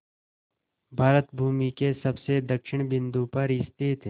भारत भूमि के सबसे दक्षिण बिंदु पर स्थित